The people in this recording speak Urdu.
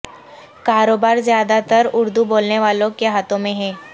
کاروبار زیادہ تر اردو بولنے والوں کے ہاتھوں میں ہے